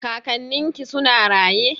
Kakannin ki suna raye?